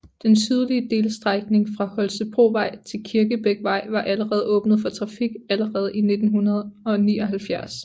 Den sydlige delstrækning fra Holstebrovej til Kirkebækvej var allerede åbnet for trafik allerede i 1979